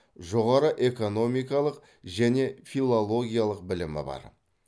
жоғары экономикалық және филологиялық білімі бар